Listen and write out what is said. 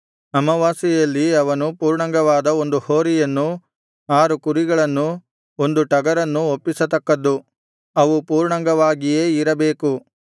ಅಮಾವಾಸ್ಯೆಯಲ್ಲಿ ಅವನು ಪೂರ್ಣಾಂಗವಾದ ಒಂದು ಹೋರಿಯನ್ನೂ ಆರು ಕುರಿಗಳನ್ನೂ ಒಂದು ಟಗರನ್ನೂ ಒಪ್ಪಿಸತಕ್ಕದ್ದು ಅವು ಪೂರ್ಣಾಂಗವಾಗಿಯೇ ಇರಬೇಕು